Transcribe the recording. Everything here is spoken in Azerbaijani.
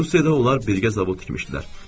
Rusiyada onlar birgə zavod tikmişdilər.